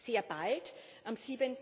Sehr bald, am